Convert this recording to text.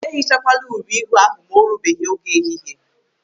Ehichakwala uri ihu ahụ ma o rubeghị oge ehihie.